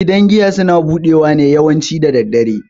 Gidan giya suna budewa ne yawanci daddare.